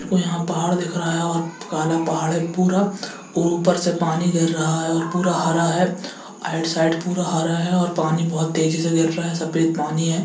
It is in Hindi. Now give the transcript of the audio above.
देखो यहां पहाड़ दिख रहा हैऔर काला पहाड़ है पूरा और ऊपर से पानी गिर रहा है पूरा हरा है ऑउट साइड पूरा हरा हैपानी बहुत तेज़ी से गिर रहा है सफेद पानी है।